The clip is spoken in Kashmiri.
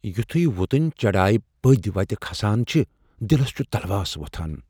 یُتھوٕے وُتٕنۍ چڈایہِ پدۍ وتہ كھسان چھِ ، دِلس چھُ تلواس وۄتھان۔